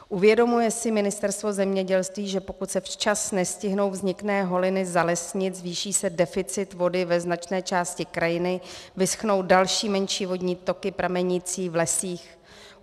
Uvědomuje si Ministerstvo zemědělství, že pokud se včas nestihnou vzniklé holiny zalesnit, zvýší se deficit vody ve značné části krajiny, vyschnou další menší vodní toky pramenící v lesích?